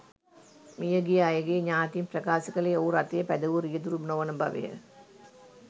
මියගිය අයගේ ඥාතීන් ප්‍රකාශ කළේ ඔහු රථය පැදවූ රියදුරු නොවන බවය.